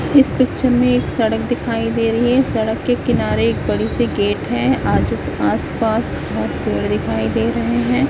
इस पिक्चर में एक सड़क दिखाई दे रही है सड़क के किनारे एक बड़ी सी गेट है आजू आस पास बहोत पेड़ दिखाई दे रहे हैं।